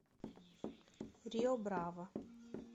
рио браво